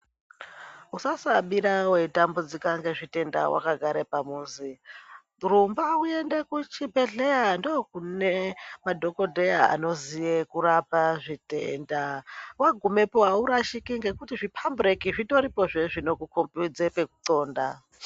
Usasabira wei tambudzika nge zvitenda wakagara pamuzi rumba uenda ku zvibhedhlera ndokune ma dhokoteya anoziya kurapa zvitenda wagumepo awu rashiki ngekuti zvi pambureki zvitoripo zvee zvinoku kombidze peku ndxonda.